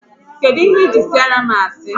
Kedụ ihe ji siara m asị?